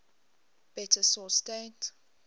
better source date